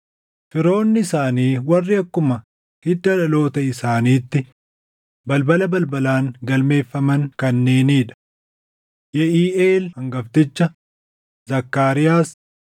Firoonni isaanii warri akkuma hidda dhaloota isaaniitti balbala balbalaan galmeeffaman kanneenii dha: Yeʼiiʼeel hangafticha, Zakkaariyaas,